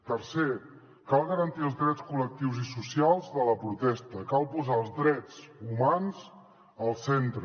tercer cal garantir els drets col·lectius i socials de la protesta cal posar els drets humans al centre